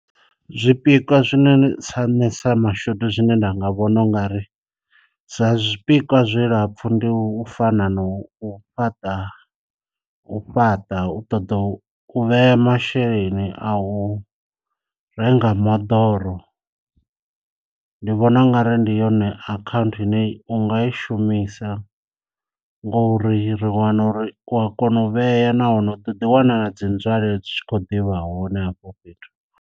Zwi pikwa zwine tsa sa mashudu zwine nda nga vhona ungari sa zwi pikwa zwilapfu ndi u fana na u fhaṱa u fhaṱa u ṱoḓa u vhea masheleni a u renga moḓoro, ndi vhona u nga ri ndi yone akhanthu ine unga i shumisa ngouri ri wana uri kwa kona u vhea nahone u ḓo ḓi wana na dzi nzwalelo dzi tshi kho ḓivha hone hafho fhethu.